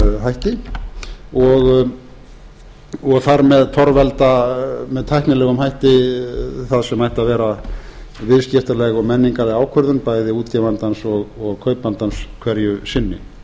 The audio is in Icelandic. hætti og þar með torvelda með tæknilegum hætti það sem ætti að ver viðskiptaleg og menningarleg ákvörðun bæði útgefandans og kaupandans hverju sinni